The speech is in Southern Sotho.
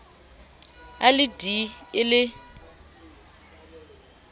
a le d e le